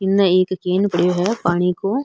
इने एक केन पड़ो है पानी को।